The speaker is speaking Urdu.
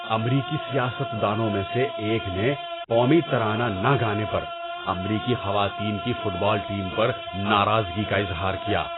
امریکی سیاست دانوں میں سے ایک نے قومی ترانہ نہ گانے پر امریکی خواتین کی فٹ بال ٹیم پر ناراضگی کا اظہار کیا۔